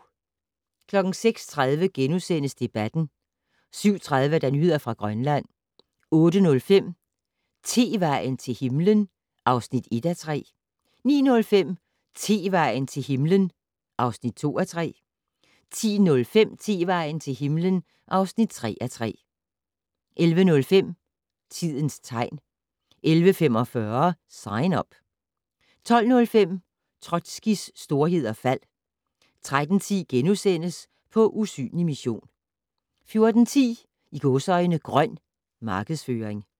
06:30: Debatten * 07:30: Nyheder fra Grønland 08:05: Tevejen til himlen (1:3) 09:05: Tevejen til himlen (2:3) 10:05: Tevejen til himlen (3:3) 11:05: Tidens tegn 11:45: Sign Up 12:05: Trotskijs storhed og fald 13:10: På usynlig mission * 14:10: "Grøn" markedsføring